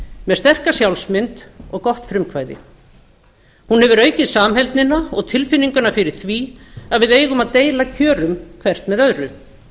með sterka sjálfsmynd og gott frumkvæði hún hefur aukið samheldnina og tilfinninguna fyrir því að við eigum að deila kjörum hvert með öðru